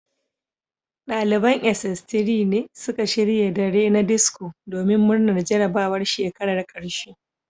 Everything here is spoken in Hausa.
Daliban sss3 ne suka shirya dare na disco domin murnar jarabawar shekarar karshe